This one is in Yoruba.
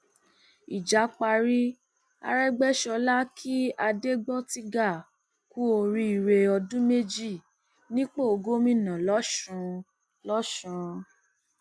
ìjà parí àrègbèsọlá kí adégbòtiga kù oríire ọdún méjì nípò gómìnà losùn losùn